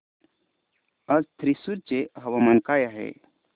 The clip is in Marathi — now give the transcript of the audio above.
आज थ्रिसुर चे हवामान काय आहे